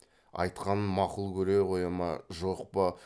айтқанын мақұл көре қоя ма жоқ па